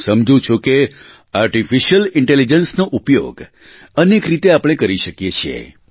હું સમજું છું કે આર્ટીફિશિયલ ઇન્ટેલિજન્સનો ઉપયોગ અનેક રીતે આપણે કરી શકીએ છીએ